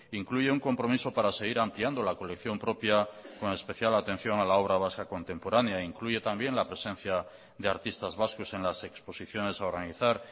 incluye un compromiso para seguir ampliando la colección propia con especial atención a la obra vasca contemporánea incluye también la presencia de artistas vascos en las exposiciones a organizar